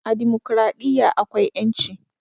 A dimokuraɗiyya akwai ƴanci